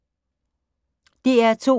DR2